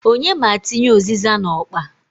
Onye m' atinye u᷂zịza n'okpa?